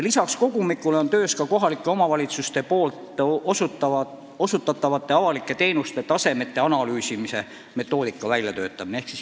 Lisaks kogumikule on töös kohalike omavalitsuste osutatavate avalike teenuste taseme analüüsimise metoodika väljatöötamine.